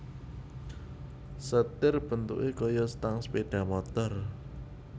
Setir bentuké kaya stang sepeda motor